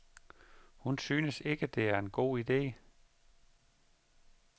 Hun synes ikke, at det er en god ide.